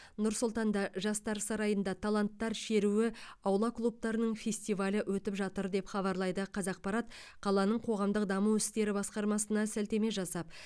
нұр сұлтанда жастар сарайында таланттар шеруі аула клубтарының фестивалі өтіп жатыр деп хабарлайды қазақпарат қаланың қоғамдық даму істері басқармасына сілтеме жасап